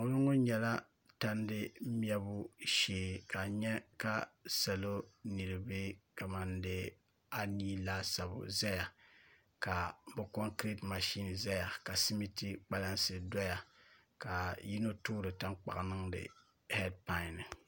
ŋɔlooŋɔ nyɛla tandi mɛbu shee ka a nya ka salo niriba kaman dee anii laasabu zaya ka bɛ kɔŋkireeti mashin zaya ka simiti kpalansi dɔya ka yino toori taŋkpaɣu niŋdi hɛdipan ni